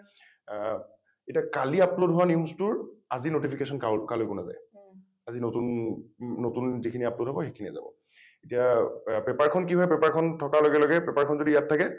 অ এতিয়া কালি upload হোৱা news টোৰ আজি notification কাও কালৈকেও নাযায় । আজি নতুন নতুন যিখিনি upload হব সেইখিনিয়েই যাব । এতিয়া পেপাৰ খন কি হয় পেপাৰ খন থকাৰ লগে লগে পেপাৰ খন যদি ইয়াত থাকে